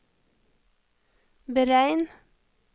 beregn